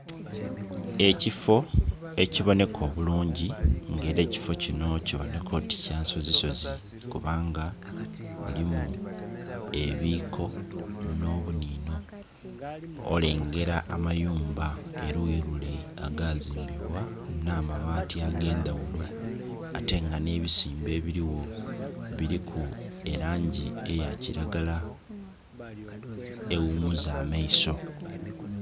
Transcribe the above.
Ekifo ekibonheka obulungi nga era ekifo kinho kibonheka oti kya nsozi sozi kubanga bulimu ebiko nho bunhinho olengera amayumba eluyi lule agazimbibwa nha mabaati agendha ghulo ate nga nhe bisimbe ebirigho biliku langi eya kilagala eghumuza amaiso.